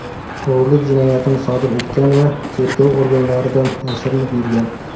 o‘g‘rilik jinoyatini sodir etgan va tergov organlaridan yashirinib yurgan.